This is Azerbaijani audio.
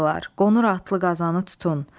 Qonur atlı qazanı tutun.